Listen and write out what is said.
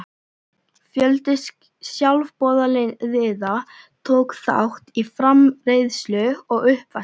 Fjöldi sjálfboðaliða tók þátt í framreiðslu og uppvaski.